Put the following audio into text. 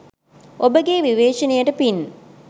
ඔබගේ විවේචනයට පින්